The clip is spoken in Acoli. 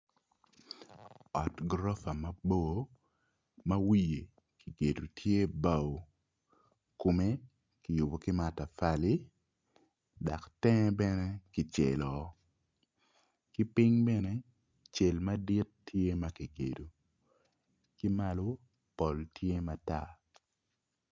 Ot guropa mabor ma wiye kigedo tye bao kome kiyubo ki matapali dok tenge bene kicelo kiping bene cel madit tye makigedo kimalo pol tye matar.